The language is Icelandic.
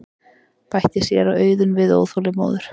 bætti séra Auðunn við óþolinmóður.